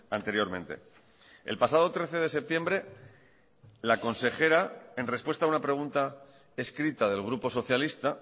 anteriormente el pasado trece de septiembre la consejera en respuesta a una pregunta escrita del grupo socialista